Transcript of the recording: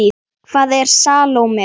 Hvaða Salóme?